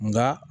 Nka